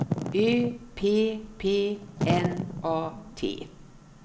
Ö P P N A T